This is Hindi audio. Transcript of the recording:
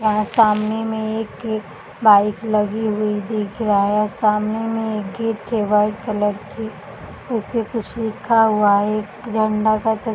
यहाँ सामने में एक -एक बाइक लगी हुई दिख रहा है सामने में एक गेट है वाइट कलर की उसपे कुछ लिखा हुआ है एक झंडा का त --